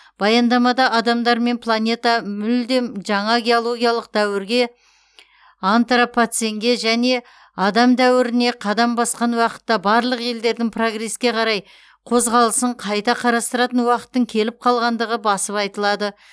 баяндамада адамдар мен планета мүлдем жаңа геологиялық дәуірге антропоценге және адам дәуіріне қадам басқан уақытта барлық елдердің прогреске қарай қозғалысын қайта қарастыратын уақыттың келіп қалғандығы басып айтылады